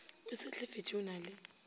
o sehlefetše o na le